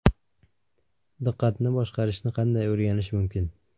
Diqqatni boshqarishni qanday o‘rganish mumkin?.